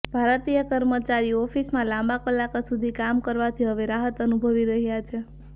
ભારતીય કર્મચારીઓ ઓફિસમાં લાંબા કલાકો સુધી કામ કરવાથી હવે રાહત અનુભવી રહ્યા છે